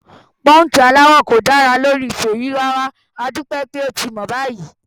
Pọ́ńkì aláwọ̀ kò dára lórí Fèyí rárá, adúpẹ́ pé ó ti mọ̀ báyìí.